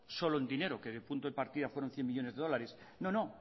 solo en dinero que en punto de partida fue cien millónes de dólares no no